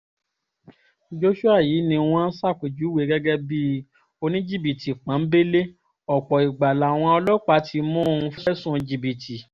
joshua yìí ni wọ́n ṣàpèjúwe gẹ́gẹ́ bíi oníjìbìtì pọ́ńbélé ọ̀pọ̀ ìgbà làwọn ọlọ́pàá ti mú un fẹ̀sùnun jìbìtì